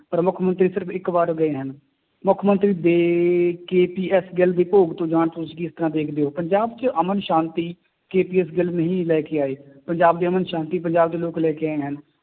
ਪਰ ਮੁੱਖ ਮੰਤਰੀ ਸਿਰਫ਼ ਇੱਕ ਵਾਰ ਗਏ ਹਨ, ਮੁੱਖ ਮੰਤਰੀ ਦੇ KPS ਗਿੱਲ ਦੇ ਭੋਗ ਤੋਂ ਜਾਣ ਤੁਸੀਂ ਕਿਸ ਤਰ੍ਹਾਂ ਦੇਖਦੇ ਹੋ, ਪੰਜਾਬ ਚ ਅਮਨ ਸ਼ਾਂਤੀ KPS ਗਿੱਲ ਨਹੀਂ ਲੈ ਕੇ ਆਏ ਪੰਜਾਬ ਦੀ ਅਮਨ ਸ਼ਾਂਤੀ ਪੰਜਾਬ ਦੇ ਲੋਕ ਲੈ ਕੇ ਆਏ ਹਨ,